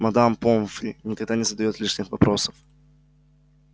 мадам помфри никогда не задаёт лишних вопросов